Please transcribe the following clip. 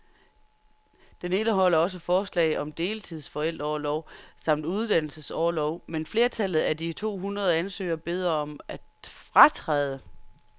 Den indeholder også forslag om deltid, forældreorlov samt uddannelsesorlov, men flertallet af de to hundrede ansøgere beder om at fratræde.